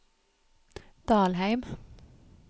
Dalheim